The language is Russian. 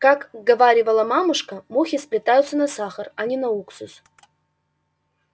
как говаривала мамушка мухи слетаются на сахар а не на уксус